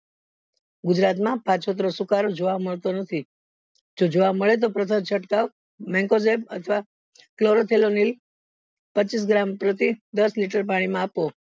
ગુજરાત માં સુકારો જોવા મળતો નથી જો જોવા મળે તો છડ્કાવ અથવા પચીસ ગ્રામ પ્રતિ દસ liter માં આપવું